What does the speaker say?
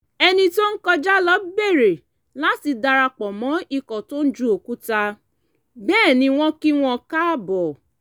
ẹni tó ń kọjá lọ bèrè láti darapọ̀ mọ́ ikọ̀ tóń ju òkúta bẹ́ẹ̀ ni wọ́n kí wọn káàbọ̀